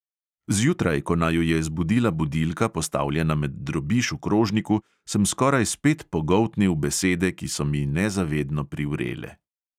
Zjutraj, ko naju je zbudila budilka, postavljena med drobiž v krožniku, sem skoraj spet pogoltnil besede, ki so mi nezavedno privrele.